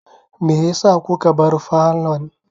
Meyasa kuka bar falon?